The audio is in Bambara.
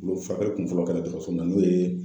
Olu furakɛli kunfɔlɔ kɛra dɔtɔrɔso in na n'o ye